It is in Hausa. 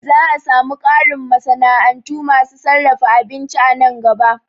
Za'a samu ƙarin masana'antu masu sarrafa abinci a nan gaba